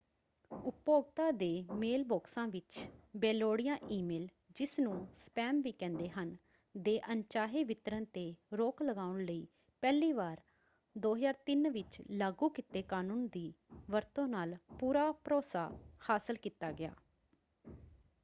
ਉਪਭੋਗਤਾ ਦੇ ਮੇਲਬਾਕਸਾਂ ਵਿੱਚ ਬੇਲੋੜੀਆਂ ਈ-ਮੇਲ ਜਿਸਨੂੰ ਸਪੈਮ ਵੀ ਕਹਿੰਦੇ ਹਨ ਦੇ ਅਣਚਾਹੇ ਵਿਤਰਣ 'ਤੇ ਰੋਕ ਲਗਾਉਣ ਲਈ ਪਹਿਲੀ ਵਾਰ 2003 ਵਿੱਚ ਲਾਗੂ ਕੀਤੇ ਕਨੂੰਨ ਦੀ ਵਰਤੋਂ ਨਾਲ ਪੂਰਾ ਭਰੋਸਾ ਹਾਸਲ ਕੀਤਾ ਗਿਆ।